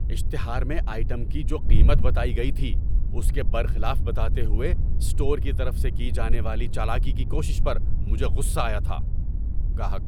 اشتہار میں آئٹم کی جو قیمت بتائی گئی تھی اس کے برخلاف بتاتے ہوئے اسٹور کی طرف سے کی جانے والی چالاکی کی کوشش پر مجھے غصہ آیا تھا۔ (گاہک)